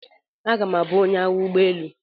Aga m abụ onye agha ụgbọ elu.